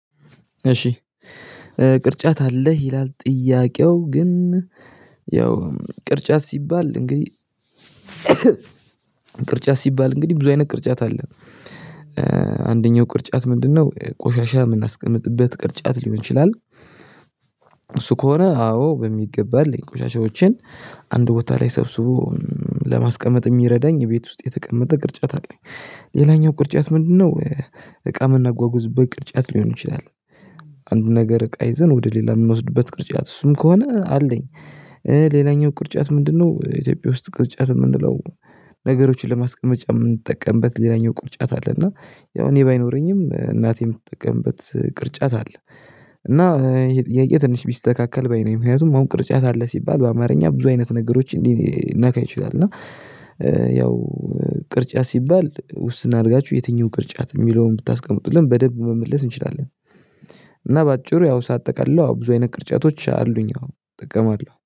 እሺ ቅርጫት አለህ ይላል ጥያቄው ግን ያው ቅርጫት ሲባል እንግዲህ ቅርጫት ሲባል እንግዲህ ብዙ አይነት ቅርጫት አለ አንደኛው ቅርጫት ምንድነው ቆሻሻ የምናስቀምጥበት ቅርጫት ሊሆን ይችላል? እሱ ከሆነ አዎ በሚገባልኝ ቆሻሻዎችን አንድ ቦታ ላይ ሰብስቦ ለማስቀመጥ የሚረዳኝ ቤት ውስጥ የተቀመጠ ቅርጫት አለኝ። ሌላኛው ቅርጫት ምንድነው? እቃ ምናጓጉዝበት በቅርጫት ሊሆን ይችላል አንድ ነገር እቃ ይዘን ወደ ሌላ የምንወስድበት ቅርጫት እሱም ከሆነ አለኝ። ሌላኛው ቅርጫት ምንድነው? ኢትዮጵያ ውስጥ ቅርጫት የምንለው ነገሮችን ለማስቀመጫ የምንጠቀምበት ሌላኛው ቅርጫት አለ እና ያው እኔ ባይኖረኝም እናቴ የምትጠቀምበት ቅርጫት አለ። እና ይሄ ጥያቄ ትንሽ ቢስተካከል ባይ ነኝ ምክንያቱም አሁን ቅርጫት አለ ሲባል በአማርኛ ብዙ አይነት ነገሮች ሊነካ ይችላል እና ያው ቅርጫት ሲባል ውስን አድርጋችሁ የትኛው ቅርጫት የሚለውን ብታስቀምጡልን በደንብ መመለስ እንችላለን። እና በአጭሩ ያው ሳጠቃልለው ብዙ አይነት ቅርጫቶች አሉኝ አዎ እጠቀማለሁ